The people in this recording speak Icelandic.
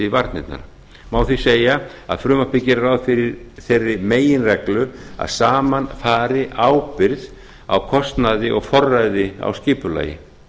varnirnar má því segja að frumvarpið geri ráð yfir þeirri meginreglu að saman fari ábyrgð á kostnaði og forræði á skipulagi